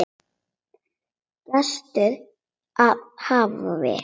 Gestur af hafi